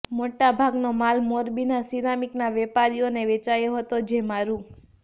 મોટા ભાગનો માલ મોરબીના સીરામીકના વેપારીઓને વેચાયો હતો જેમાં રૂ